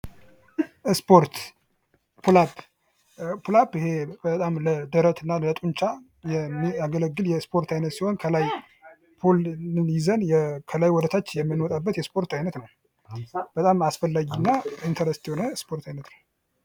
ስፖርት የአካል ብቃት እንቅስቃሴን በማበረታታት የልብና የደም ዝውውር ስርዓትን በማሻሻል ጤናማ ሕይወት ለመምራት ይረዳል